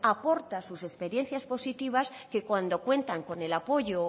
aportan sus experiencias positivas que cuando cuentan con el apoyo o